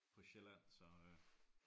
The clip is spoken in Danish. På Sjælland så øh